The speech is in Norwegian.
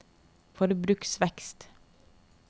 forbruksvekst